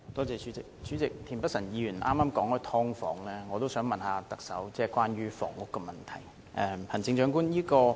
主席，田北辰議員剛才提及"劏房"，我也想問特首關於房屋的問題。